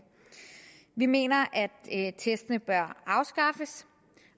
vi mener at testene bør afskaffes